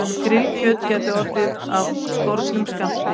Grillkjöt gæti orðið af skornum skammti